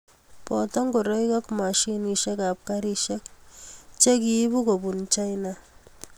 boto ngoroik ak mashinisiekab karisiek che kiibu kobunu China